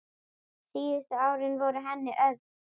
Síðustu árin voru henni örðug.